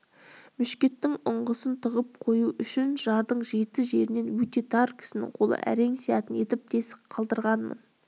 мушкеттің ұңғысын тығып қою үшін жардың жеті жерінде өте тар кісінің қолы әрең сыятын етіп тесік қалдырғанмын